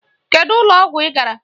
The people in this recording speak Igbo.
Kedu ụlọ ọgwụ ị gara!